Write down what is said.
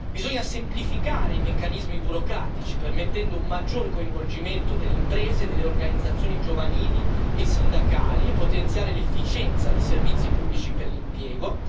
In secondo luogo, bisogna semplificare i meccanismi burocratici, permettendo un maggior coinvolgimento delle imprese e delle organizzazioni giovanili e sindacali, e potenziare l'efficienza dei servizi pubblici per l'impiego.